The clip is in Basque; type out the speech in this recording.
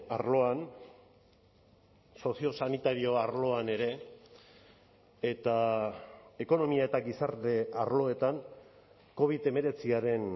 arloan soziosanitario arloan ere eta ekonomia eta gizarte arloetan covid hemeretziaren